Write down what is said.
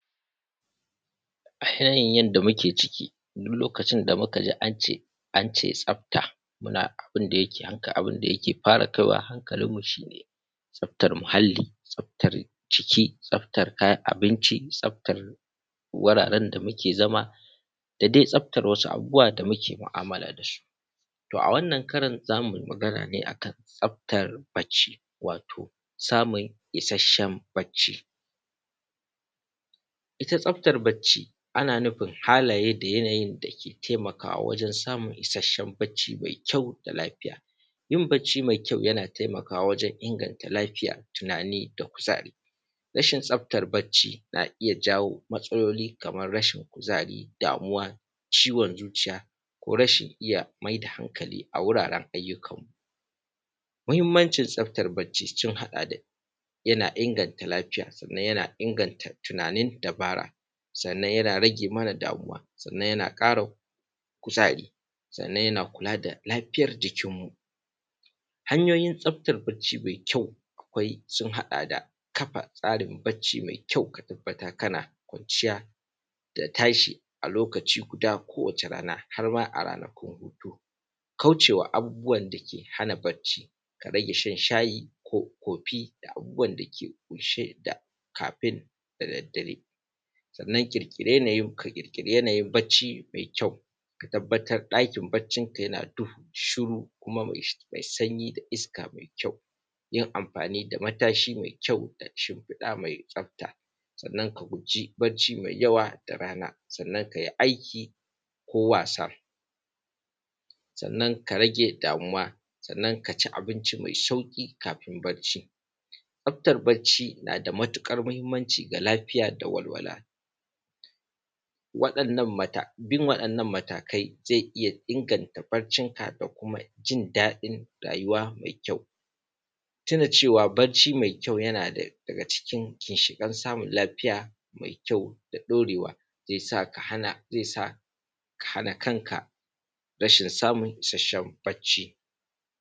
um yanda muke ciki in mukaji ance tsafta, abunda yake fara kaiwa hankalin mu shine tsaftar muhalli, tsaftar ciki, tsartar kayan abinci tsaftar wuraren da muke zama dama tsaftar wasu abubuwa da muke mu’amala dasu. To a wannan karan zamui Magana ne akan tsaftar bacci, wato samun ishashshen bacci ita bacci ana nufin halaye da yanayi dake taimakawa wajen samun isashshen bacci mai kyau da lafiya. yin bacci mai kyau yana taimakawa wajen inganta lafiya tunani da kuzari. Rashin tsaftar bacci na iyya jawo matsaloli kamar rashin kuzari, damuwa ciwon zuciya rashin iyya maida hanakali a wuraren ayyu kanmu. Mahimmancin tsaftar bacci sun haɗa da yana inganta lafiya sannan yana inganta tunanin dubara sannan yana rage mana damuwa sannan yana kuzari sannan yana kula da lafiyan jikinmu. Hanyoyin tsaftar bacci mai akwai sun haɗa da tsarin bacci mai kyau ka tabbatar kana kwanciya da tashi a lokaci guda harma da ranakun hutu, kaucewa abubuwan dake hana bacci Kaman shan shayi ko kofi ko abubuwan dake bushe da kafin da daddare. Sannan yanayin bacci mai kyau ka tabbatar ɗakin baccin ka yana duhu shiru kuma mai shiru isaka mai kyau, yin amfani da matashi mai kyau da shimfiɗa mai tsafta, sannan a guji bacci mai yawa da rana sannan kai aiki ko wasa sannan ka rage damuwa kaci abinci mai sauƙi kafin bacci. Tsaftar bacci nada matuƙar hamimmanci ga lafiya da walwala bin waɗannan matakai zai iyya inganta baccin ka da kuma jin daɗin rayuwa mai kyau. Tuna cewa bacci mai kyau yanada daga cikin ginshikan samun lafiya mai kyau da ɗorewa zaisa ka hana samun kanka rashin isashshen bacci